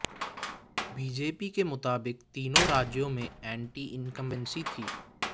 BJP के मुताबिक तीनों राज्यों में एंटी इनकमबेंसी थी